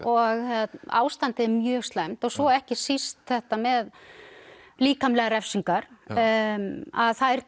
og ástandið er mjög slæmt svo ekki síst þetta með líkamlegar refsingar að þær